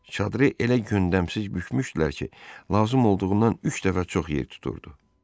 Çadırı elə gündəmsiz bükmüşdülər ki, lazım olduğundan üç dəfə çox yer tuturdu.